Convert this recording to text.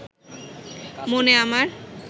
মনে আমার